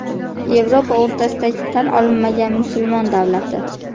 Yevropa o‘rtasidagi tan olinmagan musulmon davlati.